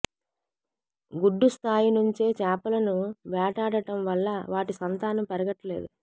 గుడ్డు స్థాయి నుంచే చేపలను వేటాడటం వల్ల వాటి సంతానం పెరగట్లేదు